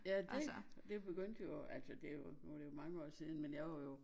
Ja dét det begyndte jo altså det jo mange år siden men jeg var jo